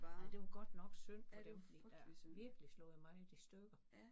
Nej det var godt nok synd for dem fordi det har virkelig slået meget i stykker